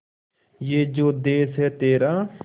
ये जो देस है तेरा